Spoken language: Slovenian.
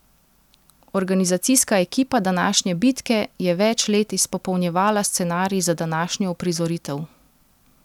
Organizacijska ekipa današnje bitke je več let izpopolnjevala scenarij za današnjo uprizoritev.